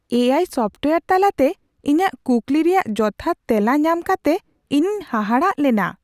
ᱮ ᱟᱭ ᱥᱚᱯᱷᱴᱣᱭᱮᱨ ᱛᱟᱞᱟᱛᱮ ᱤᱧᱟᱹᱜ ᱠᱩᱠᱞᱤ ᱨᱮᱭᱟᱜ ᱡᱚᱛᱷᱟᱛ ᱛᱮᱞᱟ ᱧᱟᱢ ᱠᱟᱛᱮ ᱤᱧᱤᱧ ᱦᱟᱦᱟᱲᱟᱜ ᱞᱮᱱᱟ ᱾